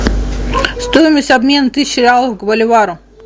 стоимость обмена тысячи реалов к боливару